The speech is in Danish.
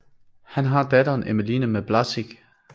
Han har datteren Emmeline med Blazic